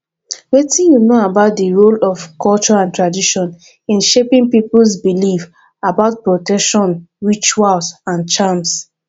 wetin you know about di role of culture and tradition in shaping peoples beliefs about protection rituals and charms